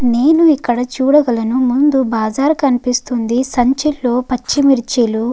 నేను ఇక్కడ చూడగలను ముందు బజార్ కనిపిస్తుంది సంచిలో పచ్చిమిర్చీలు --